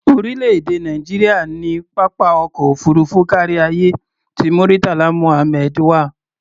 Orílẹ̀-èdè Nàìjíríà ní pápá ọkọ̀ òfuurufú káríayé ti Murtala Muhammed wà.